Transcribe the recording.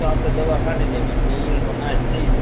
પણ એતો આપડે દવા છાંટી દેવા જોઈએ ઈયર નો નાશ થઇ જાય